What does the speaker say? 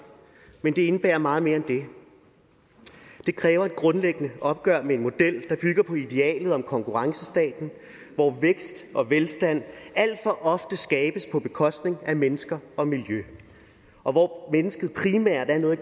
men det indebærer meget mere end det det kræver et grundlæggende opgør med en model der bygger på idealet om konkurrencestaten hvor vækst og velstand alt for ofte skabes på bekostning af mennesker og miljø og hvor mennesket primært er noget i